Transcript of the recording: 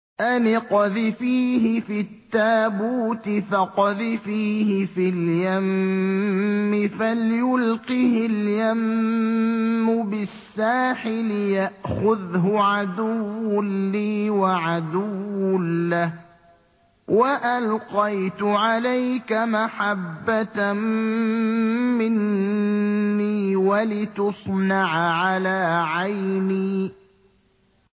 أَنِ اقْذِفِيهِ فِي التَّابُوتِ فَاقْذِفِيهِ فِي الْيَمِّ فَلْيُلْقِهِ الْيَمُّ بِالسَّاحِلِ يَأْخُذْهُ عَدُوٌّ لِّي وَعَدُوٌّ لَّهُ ۚ وَأَلْقَيْتُ عَلَيْكَ مَحَبَّةً مِّنِّي وَلِتُصْنَعَ عَلَىٰ عَيْنِي